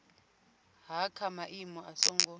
ha kha maimo a songo